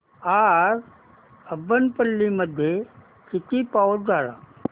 आज अब्बनपल्ली मध्ये किती पाऊस झाला